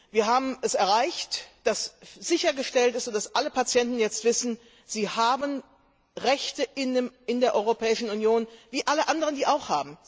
Wir haben erreicht, dass sichergestellt ist, dass alle Patienten jetzt wissen, sie haben Rechte in der Europäischen Union wie alle anderen auch.